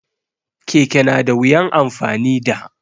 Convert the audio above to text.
Keke na da wuyan amfani da